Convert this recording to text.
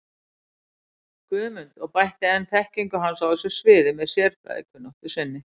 Guðmund og bætti enn þekkingu hans á þessu sviði með sérfræðikunnáttu sinni.